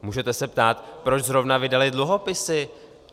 Můžete se ptát - proč zrovna vydaly dluhopisy?